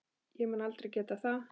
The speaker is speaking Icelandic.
Ég mun aldrei geta það.